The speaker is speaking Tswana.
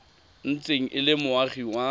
ntse e le moagi wa